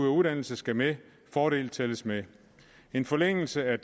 og uddannelse skal med fordel tælles med en forlængelse af